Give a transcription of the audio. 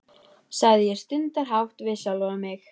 sagði ég stundarhátt við sjálfa mig.